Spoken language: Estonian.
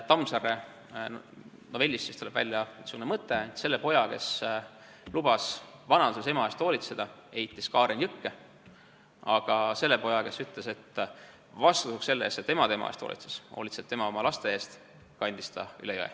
Tammsaare jutust tuleb välja mõte, et selle poja, kes lubas vanaduses ema eest hoolitseda, heitis kaaren jõkke, aga selle poja, kes ütles, et vastutasuks selle eest, et ema tema eest hoolitses, hoolitseb tema oma laste eest, kandis kaaren üle jõe.